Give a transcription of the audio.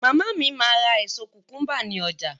Màmá mi máa ra èso kùkúńbà ní ọjà.